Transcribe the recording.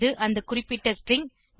இது அந்த குறிப்பிட்ட ஸ்ட்ரிங்